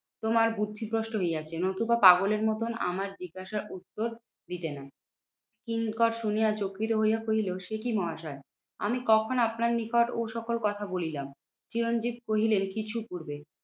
তোমার বুদ্ধিভ্রষ্ট হইয়াছে নতুবা পাগলের মতন আমার জিজ্ঞাসার উত্তর দিতে না। কিঙ্কর শুনিয়া চকিত হইয়া কহিলো, সেকি মহাশয় আমি কখন আপনার নিকট ও সকল কথা বলিলাম? চিরঞ্জিত কহিলেন কিছু পূর্বে।